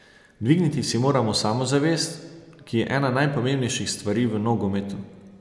Dvigniti si moramo samozavest, ki je ena najpomembnejših stvari v nogometu.